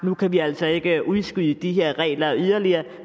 nu kan vi altså ikke udskyde de her regler yderligere og